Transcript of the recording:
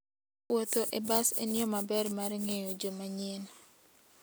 Wuotho e bas en yo maber mar ng'eyo joma nyien.